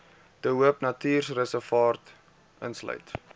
de hoopnatuurreservaat insluit